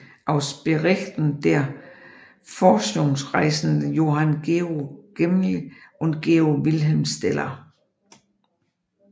Aus Berichten der Forschungsreisenden Johann Georg Gmelin und Georg Wilhelm Steller